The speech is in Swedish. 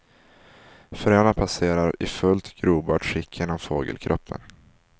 Fröna passerar i fullt grobart skick genom fågelkroppen.